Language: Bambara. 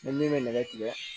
Ni min bɛ nɛgɛ tigɛ